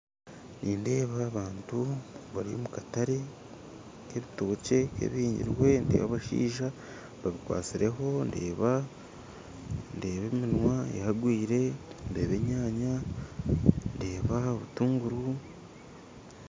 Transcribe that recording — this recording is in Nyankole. Nindeeba abantu bari omu katare k'ebitokye ebihire ndeeba abashaija babikwasireho ndeeba ndeeba eminwa ahagwire ndeeba enyaanya ndeeba aha butunguru